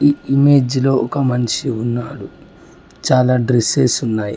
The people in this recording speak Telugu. ఈ ఇమేజ్ లో ఒక మనిషి ఉన్నాడు చాలా డ్రెస్సెస్ ఉన్నాయి.